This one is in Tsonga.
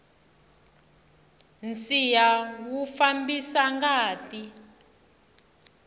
nsiha wu fambisa ngati